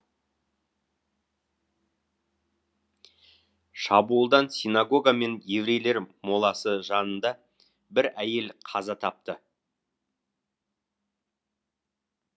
шабуылдан синагога мен еврейлер моласы жанында бір әйел қаза тапты